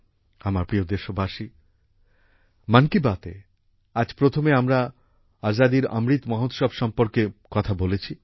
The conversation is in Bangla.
আমার প্রিয় দেশবাসী মন কি বাতএ আজ প্রথমে আমরা আজাদীর অমৃত মহোৎসব সম্বন্ধে কথা বলেছি